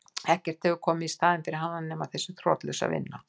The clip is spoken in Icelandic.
Ekkert hefur komið í staðinn fyrir hana nema þessi þrotlausa vinna.